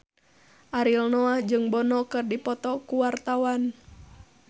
Ariel Noah jeung Bono keur dipoto ku wartawan